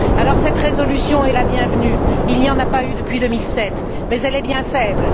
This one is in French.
Dans ce contexte, cette résolution est la bienvenue il n'y en a pas eu depuis 2007 mais elle est bien faible.